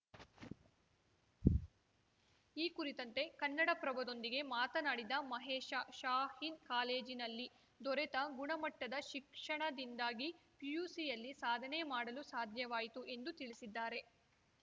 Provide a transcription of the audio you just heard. ಈ ಕುರಿತಂತೆ ಕನ್ನಡಪ್ರಭದೊಂದಿಗೆ ಮಾತನಾಡಿದ ಮಹೇಶ ಶಾಹೀನ್‌ ಕಾಲೇಜಿನಲ್ಲಿ ದೊರೆತ ಗುಣಮಟ್ಟದ ಶಿಕ್ಷಣದಿಂದಾಗಿ ಪಿಯುಸಿಯಲ್ಲಿ ಸಾಧನೆ ಮಾಡಲು ಸಾಧ್ಯವಾಯಿತು ಎಂದು ತಿಳಿಸಿದ್ದಾರೆ